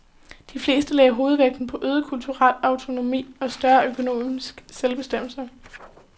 De fleste lagde hovedvægten på øget kulturel autonomi og større økonomisk selvbestemmelse.